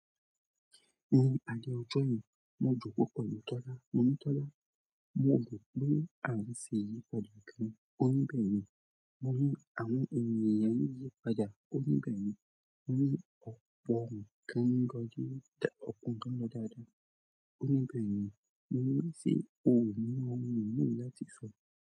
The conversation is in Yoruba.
Ní alẹ́ ọjọ́ yen, mo jòko pẹ̀lú Tọ́lá. Mo ní Tọ́lá, mo mọ̀ pé àìní sè yípadà kan. Ó ní bẹ́ẹ̀ni, mo ní àwọn ènìyàn yípadà. Ó ní bẹ́ẹ̀ni, mo ní ọpọ ǹkán lọ dáadáa. Ó ní bẹ́ẹ̀ni, mo ní sé òun ni ọmọ mi mú láti ìṣọ.